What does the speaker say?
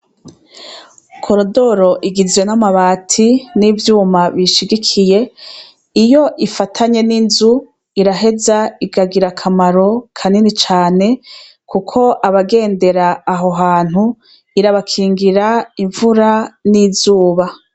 Koridoro igizwe n' amabati n' ivyuma biyishigikiye iyo ifatanye n' inzu iraheza ikagira akamaro kanini cane kuko abagendera aho hantu irabakingira imvura n' izuba.